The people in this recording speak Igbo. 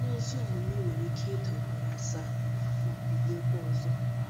Onye ezi omume nwere Ike ida ugboro asaa, ma bilikwa ọzọ.. ”